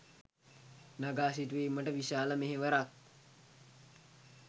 නඟා සිටුවීමට විශාල මෙහෙවරක්